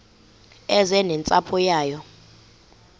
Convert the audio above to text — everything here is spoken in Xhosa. eze nentsapho yayo